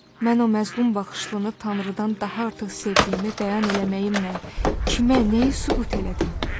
Mən o məzlum baxışlını Tanrıdan daha artıq sevdiyimi bəyan eləməyimlə kimə, nəyi sübut elədim?